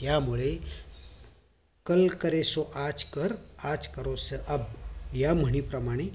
त्यामुळे कल करेसो आज कर आज करेसो अब या म्हणी प्रमाणे